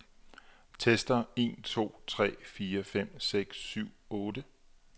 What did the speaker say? Tester en to tre fire fem seks syv otte.